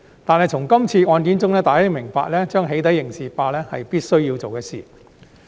然而，從今次案件，大家明白到"起底"刑事化是必須做的事情。